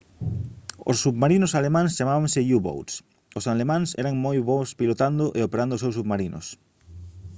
os submarinos alemáns chamábanse u-boats os alemáns eran moi bos pilotando e operando os seus submarinos